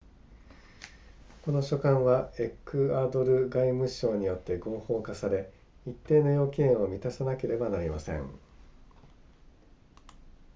この書簡はエクアドル外務省によって合法化され一定の要件を満たさなければなりません